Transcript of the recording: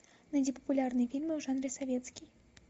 найди популярные фильмы в жанре советский